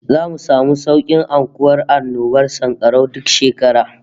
Zamu samu saukin aukuwar annobar sankarau duk shekara